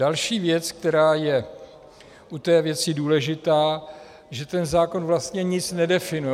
Další věc, která je u té věci důležitá, že ten zákon vlastně nic nedefinuje.